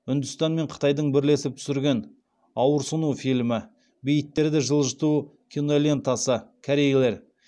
үндістан мен қытайдың бірлесіп түсірген ауырсыну фильмі бейіттерді жылжыту кинолентасы